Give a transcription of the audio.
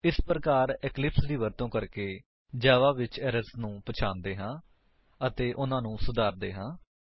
ਇਸ ਪ੍ਰਕਾਰ ਇਕਲਿਪਸ ਦੀ ਵਰਤੋ ਕਰਕੇ ਜਾਵਾ ਵਿੱਚ ਏਰਰਸ ਨੂੰ ਪਛਾਣਦੇ ਹਾਂ ਅਤੇ ਉਨ੍ਹਾਂਨੂੰ ਸੁਧਾਰਦੇ ਹਾਂ